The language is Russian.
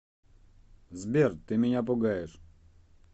сбер ты меня пугаешь